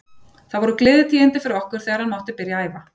Það voru gleðitíðindi fyrir okkur þegar hann mátti byrja að æfa.